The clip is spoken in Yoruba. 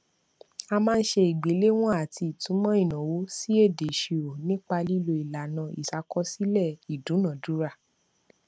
a máa ń ṣe ìgbéléwọn àti ìtumò ìnáwó sí èdè ìṣirò nípa lílo ìlànà ìṣàkọsílẹ ìdúnadúrà